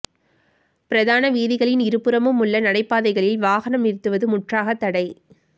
பிரதான வீதிகளின் இருபுறமும் உள்ள நடைபாதைகளில் வாகனம் நிறுத்துவது முற்றாகத் தடை